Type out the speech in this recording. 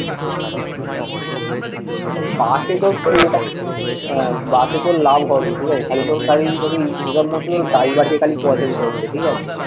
হ্যাঁ বাসে তোর লাভ হবেই ঠিক আছে খালি তোর খালি তোকে income মাত্র ড্রাইভারকে খালি পয়সা দিতে হচ্ছে ঠিক আছে